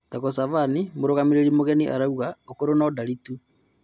Thago Savali: Mũrũgamĩrĩri mũgeni arauga, 'ũkũrũ no-ndari tu'